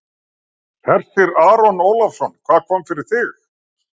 Hersir Aron Ólafsson: Hvað kom fyrir þig?